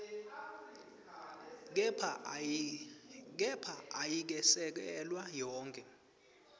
kepha ayikesekelwa yonkhe